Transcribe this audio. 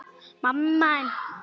En allt kostar þetta nokkuð.